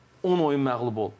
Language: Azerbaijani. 10 oyun məğlub ol.